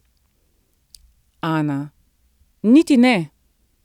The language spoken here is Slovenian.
Ana: 'Niti ne.